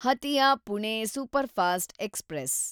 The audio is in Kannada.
Hatia Pune superfast express